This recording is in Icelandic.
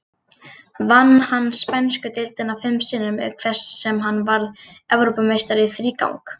Vann hann spænsku deildina fim sinnum, auk þess sem hann varð Evrópumeistari í þrígang.